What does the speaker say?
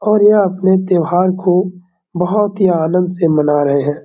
और यह अपने त्योहार को बहुत ही आनंद से मना रहें हैं।